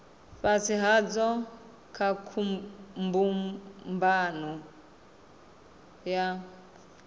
fhasi hadzo kha mbumbano ya